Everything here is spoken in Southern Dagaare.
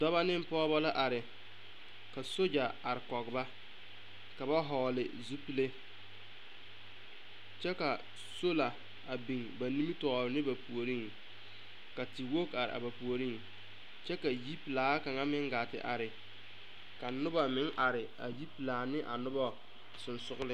Dɔba ne pɔgeba la are ka sogya are kɔge ba ka ba vɔgle zupile kyɛ ka solar a biŋ ba nimitɔɔre ne ba puoriŋ ka tewogi are a ba puoriŋ kyɛ ka yipelaa kaŋa meŋ gaa te are ka noba meŋ are a yipelaa ne a noba sensoglen.